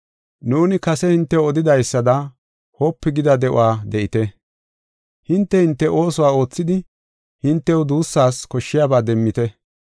Nuuni kase hintew odidaysada wopu gida de7uwa de7ite. Hinte, hinte ooso oothidi hintew duussas koshshiyaba demmite.